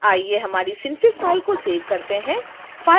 आइए हमारी synfig file को सेव करते हैं